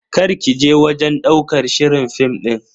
Karki je wajen ɗaukar shirin film din.